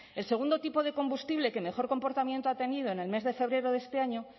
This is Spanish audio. el segundo tipo de combustible que mejor comportamiento ha tenido en el mes de febrero de este año